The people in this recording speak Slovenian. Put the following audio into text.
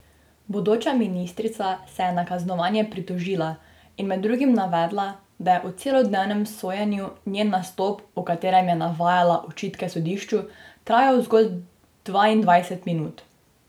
Bodoča ministrica se je na kaznovanje pritožila in med drugim navedla, da je v celodnevnem sojenju njen nastop, v katerem je navajala očitke sodišču, trajal zgolj dvaindvajset minut.